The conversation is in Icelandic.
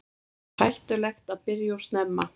Er hættulegt að byrja of snemma?